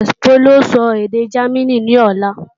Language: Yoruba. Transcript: Bólú ó sọ èdè Jámínì ní ọ̀la